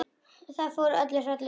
Það fór hrollur um Lillu.